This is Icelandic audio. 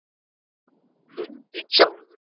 Lundinn sjálfur